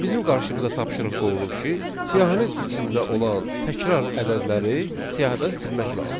Və bizim qarşımıza tapşırıq qoyulur ki, siyahının içində olan təkrar ədədləri siyahıdan silmək lazımdır.